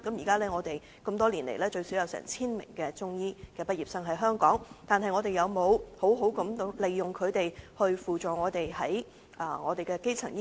這麼多年來，香港最少有 1,000 名的中醫畢業生，但政府有沒有善用他們來輔助基層醫療？